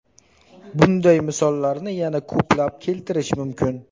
Bunday misollarni yana ko‘plab keltirish mumkin.